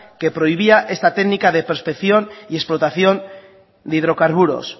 que prohibía esta técnica de prospección y explotación de hidrocarburos